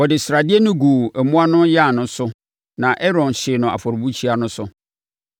Wɔde sradeɛ no guu mmoa no ayan so na Aaron hyee no afɔrebukyia no so.